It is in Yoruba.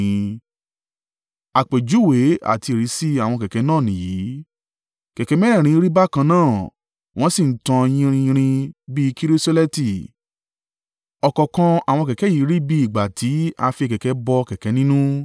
Àpèjúwe àti ìrísí àwọn kẹ̀kẹ́ náà nìyìí: kẹ̀kẹ́ mẹ́rẹ̀ẹ̀rin rí bákan náà, wọ́n sì ń tàn yinrin yinrin bí i kirisoleti, ọ̀kọ̀ọ̀kan àwọn kẹ̀kẹ́ yìí rí bí i ìgbà tí a fi kẹ̀kẹ́ bọ kẹ̀kẹ́ nínú.